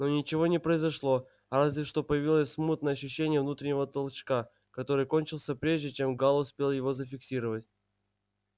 но ничего не произошло разве что появилось смутное ощущение внутреннего толчка который кончился прежде чем гаал успел его зафиксировать